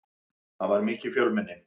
Það var mikið fjölmenni.